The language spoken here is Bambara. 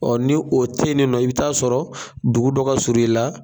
Ɔ ni o te ye nin nɔ i bi t'a sɔrɔ dugu dɔ ka surun i la